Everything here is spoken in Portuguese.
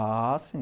Ah, sim.